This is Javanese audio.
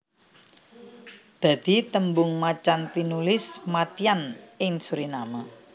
Dadi tembung macan tinulis mâtyân ing Suriname